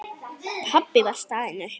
Pabbi var staðinn upp.